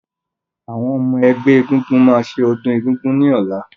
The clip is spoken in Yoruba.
Àwọn ọmọ-ẹgbẹ́ ẹgúngún máa ṣe ọdún egúngún ní ọ̀la.